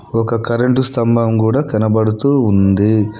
ఒక కరెంటు స్తంభం కూడా కనబడుతూ ఉంది.